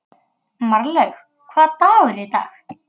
Marlaug, hvaða dagur er í dag?